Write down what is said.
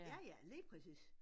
Ja ja lige præcis